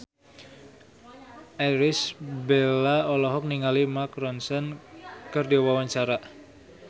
Irish Bella olohok ningali Mark Ronson keur diwawancara